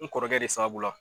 N kɔrɔkɛ de sababu la